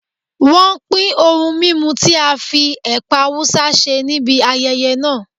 Wọ́n pin ohun mímu tí a fi ẹ̀pà Awúsá ṣe níbi ayẹyẹ náà.